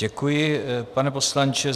Děkuji, pane poslanče.